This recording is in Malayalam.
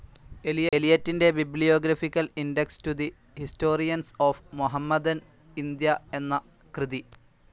എലിയറ്റിന്റെ bibliographical index to the historians of Mohammedan India എന്ന കൃതി.